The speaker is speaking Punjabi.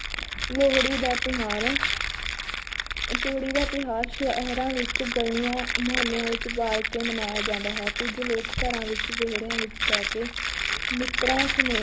ਲੋਹੜੀ ਦਾ ਤਿਉਹਾਰ ਲੋਹੜੀ ਦਾ ਤਿਉਹਾਰ ਸ਼ਹਿਰਾਂ ਵਿੱਚ ਗਲੀਆਂ ਮੁਹੱਲਿਆਂ ਵਿੱਚ ਬਾਲ ਕੇ ਮਨਾਇਆ ਜਾਂਦਾ ਹੈ, ਕੁੱਝ ਲੋਕ ਘਰਾਂ ਵਿੱਚ ਵਿਹੜਿਆਂ ਵਿੱਚ ਬਹਿ ਕੇ ਮਿੱਤਰਾਂ ਸਨੇਹ~